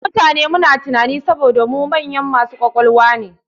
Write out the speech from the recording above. Mu mutane muna tunanin e saboda mu manyan masu ƙwaƙwalwa e.